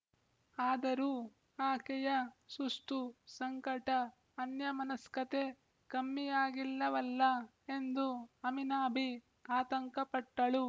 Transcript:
ಆದರೂ ಆಕೆಯ ಸುಸ್ತು ಸಂಕಟ ಅನ್ಯಮನಸ್ಕತೆ ಕಮ್ಮಿಯಾಗಿಲ್ಲವಲ್ಲ ಎಂದು ಆಮಿನಾಬಿ ಆತಂಕಪಟ್ಟಳು